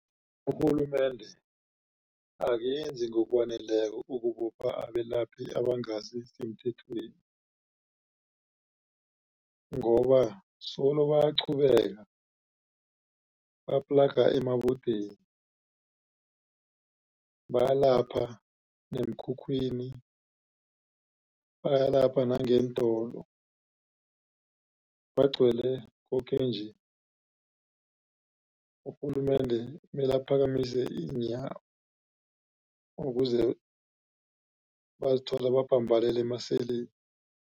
Urhulumende akenzi ngokwaneleko ukubopha abelaphi abangasisemthethweni ngoba solo bayaqhubeka baplaga emabodeni. Bayalapha neemkhukhwini bayalapha nangeentolo bagcwele koke-nje. Urhulumende mele aphakamise iinyawo ukuze bazithole babhambalele emaseli.